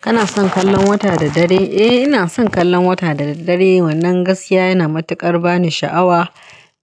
Kana son kallon wata da dare? Eh, ina son kallon wata da daddare, wannan gaskiya yana matuƙar bani sha'awa